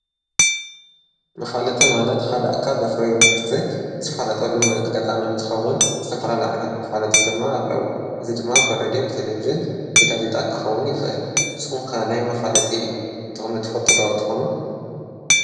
መፋለጢ ማለት ሓደ ኣካል ዘፍርዮ ምህርቲ ዘፋልጠሉ ኣጋጣሚ እንትከዉን ዝተፈላለዩ ዓይነታት መፋለጢ ድማ ኣለዉ። እዚ ድማ ብሬድዮ ንቴለቪዥን፣ ጋዜጣ፣ ክከዉን ይክእል። ንስኩም ከ ናይ መፋለጢ ጥቅሚ ትፈጡ ዶ ትኮኑ ?